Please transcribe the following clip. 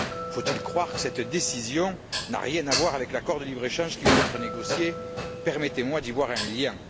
Faut il croire que cette décision n'a rien à voir avec l'accord de libre échange qui vient d'être négocié? Permettez moi d'y voir un lien.